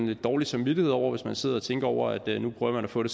lidt dårlig samvittighed over det hvis man sidder og tænker over at nu prøver man at få en